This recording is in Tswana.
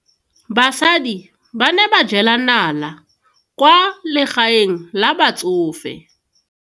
Basadi ba ne ba jela nala kwaa legaeng la batsofe.